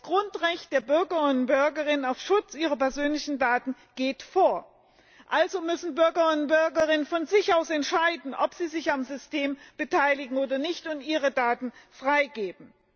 Das Grundrecht der Bürger und Bürgerinnen auf Schutz ihrer persönlichen Daten geht vor. Also müssen die Bürger und Bürgerinnen von sich aus entscheiden, ob sie sich am System beteiligen oder nicht, und ihre Daten freigeben.